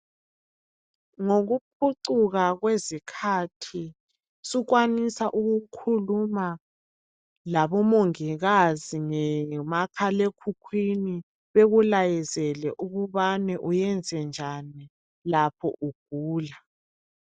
Ngokuphucuka kwezikhathi sukwanisa ukukhuluma labomongikazi ngomakhalekhukhwini bekulayezele ukubana uyenze njani lapho ugula.